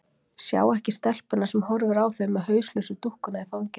Sjá ekki stelpuna sem horfir á þau með hauslausu dúkkuna í fanginu.